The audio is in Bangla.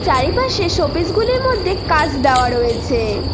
চারিপাশে শোপিস -গুলির মধ্যে কাঁস দেওয়া রয়েছে।